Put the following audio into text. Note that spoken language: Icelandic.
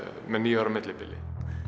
með níu ára millibili